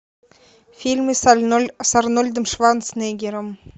фильмы с арнольдом шварценеггером